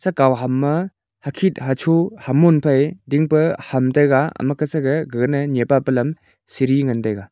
akau ham ma hakhit hachu hamun phai dingpa ham taiga amakasage gaganai nyepa pa lam siri ngan taiga.